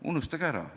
Unustage ära!